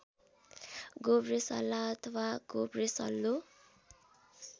गोब्रेसल्ला अथवा गोब्रेसल्लो